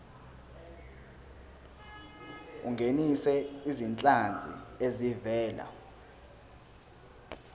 ungenise izinhlanzi ezivela